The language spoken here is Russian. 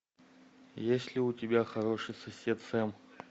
есть ли у тебя хороший сосед сэм